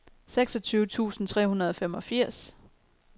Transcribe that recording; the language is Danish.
seksogtyve tusind tre hundrede og femogfirs